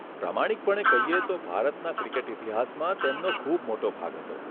પ્રામાણિકપણે કહીએ તો ભારતના ક્રિકેટ ઇતિહાસમાં તેમનો ખૂબ મોટો ભાગ હતો.